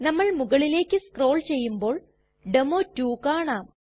നമ്മൾ മുകളിലേക്ക് സ്ക്രോൾ ചെയ്യുമ്പോൾ ഡെമോ2 കാണാം